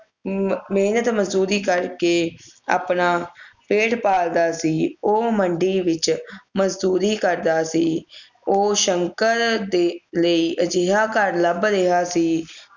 ਅਮ ਮੇਹਨਤ ਮਜਦੂਰੀ ਕਰ ਕੇ ਆਪਣਾ ਪੇਟ ਪਾਲਦਾ ਸੀ ਉਹ ਮੰਡੀ ਵਿਚ ਮਜਦੂਰੀ ਕਰਦਾ ਸੀ ਉਹ ਸ਼ੰਕਰ ਦੇ ਲਈ ਅਜਿਹਾ ਘਰ ਲੱਭ ਰਿਹਾ ਸੀ